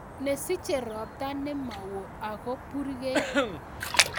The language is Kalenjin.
Nesiche ropta nemowo ako burkei